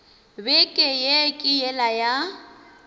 beke ye ke yela ya